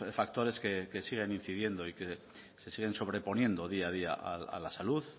factores que siguen incidiendo y que se siguen sobreponiendo día a día a la salud